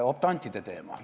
Optantide teema.